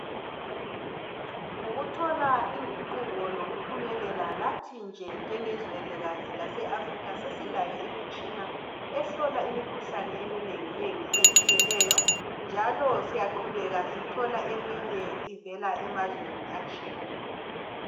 ngokuthola inguquk lokuphumelela lathi nje njengezwelikazi lase Africa sesilayo imitshina ehlola imikhuhlane eminengi nengi etshiyeneyo njalo siyaqhubeka sithola eminye ivela emazweni atshiyeneyo